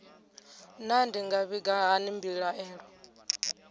naa ndi nga vhiga hani mbilaelo